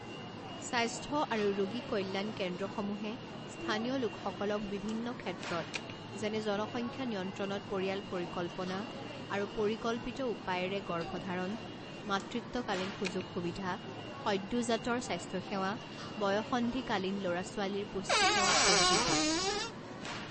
স্বাস্থ্য আৰু ৰোগী কল্যাণ কেন্দ্ৰসমূহে স্থানীয় লোকসকলক বিভিন্ন ক্ষেত্ৰত যেনে জনসংখ্যা নিয়ন্ত্ৰণত পৰিয়াল পৰিকল্পনা আৰু পৰিকল্পিত উপায়েৰে গৰ্ভধাৰণ, মাতৃত্বকালীন সুযোগ সুবিধা, সদ্যোজাতৰ স্বাস্থ্য সেৱা, বয়ঃসন্ধিকালীন লৰা ছোৱালীৰ পুষ্টি সেৱা প্ৰভৃতি।